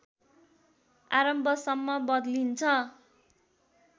आरम्भसम्म बदलिन्छ